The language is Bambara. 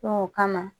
o kama